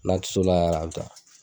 N'a ti s'o la yɛrɛ a bi ta